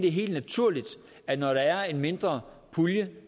er helt naturligt at når der er en mindre pulje